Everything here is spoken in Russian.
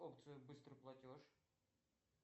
опция быстрый платеж